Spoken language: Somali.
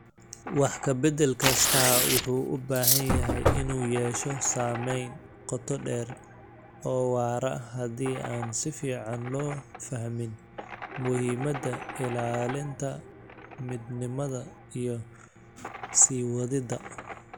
Wax ka bedel kastaa wuxuu u badan yahay inuu yeesho saameyn qoto dheer oo waara haddii aan si fiican loo fahmin muhiimada ilaalinta midnimada iyo sii wadida.